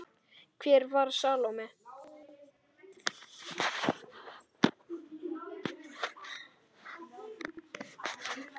Hver var Salóme?